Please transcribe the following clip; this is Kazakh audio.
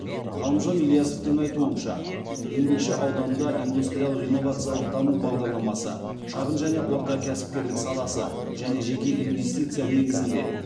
ғалымжан ильясовтың айтуынша еңбекші ауданында индустриялық инновациялық даму бағдарламасы шағын және орта кәсіпкерлік саласы және жеке инвестиция негізінде